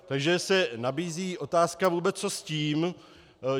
Takže se nabízí otázka, co vůbec s tím.